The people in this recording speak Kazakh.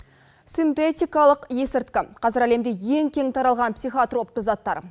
синтетикалық есірткі қазір әлемде ең кең таралған психотропты заттар